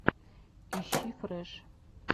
ищи фрэш